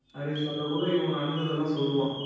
அப்படின்னு சொல்லக்குள்ள இவன் நடந்ததெல்லாம் சொல்லுவான்